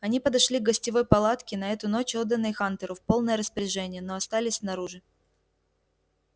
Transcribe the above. они подошли к гостевой палатке на эту ночь отданной хантеру в полное распоряжение но остались снаружи